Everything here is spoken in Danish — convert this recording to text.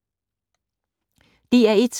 DR1